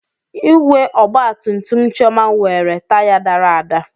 Igwe ọgba tum tum Chioma nwere taya dara ada.